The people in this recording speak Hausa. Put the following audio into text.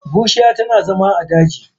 Bushiya tana zama a daji.